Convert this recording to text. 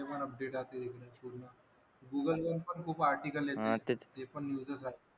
Google वर पण खूप आर्टिकल्स आहे . ते पण न्यूज चं आहे.